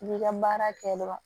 I bi ka baara kɛ dɔrɔn